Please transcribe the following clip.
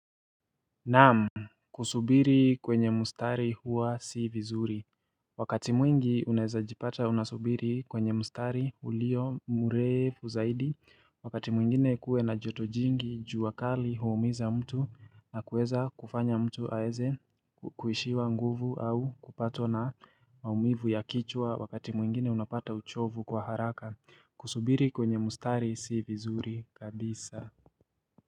Naam, kusubiri kwenye mustari huwa si vizuri. Wakati mwingi uneweza jipata unasubiri kwenye mustari ulio murefu zaidi. Wakati mwingine kuwe na joto jingi jua kali huumiza mtu na kuweza kufanya mtu aweze kuishiwa nguvu au kupatwa na maumivu ya kichwa wakati mwingine unapata uchovu kwa haraka. Kusubiri kwenye mustari si vizuri kadisa.